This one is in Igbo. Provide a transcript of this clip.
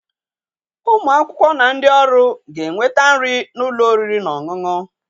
Ụmụ akwụkwọ na ndị ọrụ ga-enweta nri n'ụlọ oriri na ọṅụṅụ.